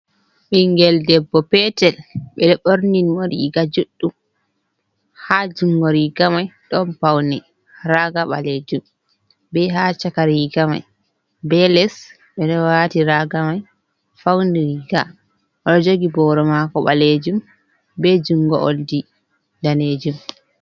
Ɓingel debbo petel, ɓe ɗo borni mo riiga juɗɗum. Ha jungo riiga mai, ɗon paune raga ɓaleejum, be ha caka riiga mai. Be les, ɓe ɗo waati raga mai, fauni riiga. O ɗo jogi boro mako ɓaleejum, be jungo oldi daneejum.